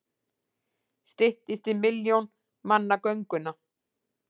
Styttist í milljón manna gönguna